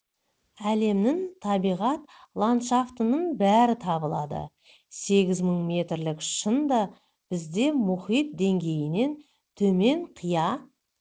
әлемнің табиғат ландшафтының бәрі табылады сегіз мың метрлік шың да бізде мұхит деңгейінен төмен қия